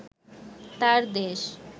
তাঁর দেশ